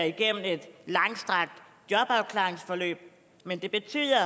igennem et langstrakt jobafklaringsforløb men det betyder